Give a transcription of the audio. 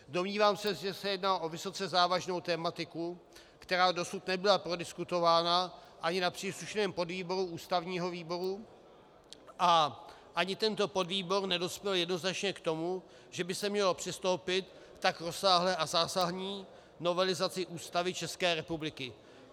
Domnívám se, že se jedná o vysoce závažnou tematiku, která dosud nebyla prodiskutována ani na příslušném podvýboru ústavního výboru, a ani tento podvýbor nedospěl jednoznačně k tomu, že by se mělo přistoupit k tak rozsáhlé a zásadní novelizaci Ústavy České republiky.